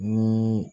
Ni